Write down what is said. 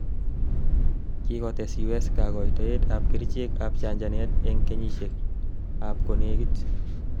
kikotes U.S kagoitoet ab kerichek ab chanchanet en kenyisiek ab konegit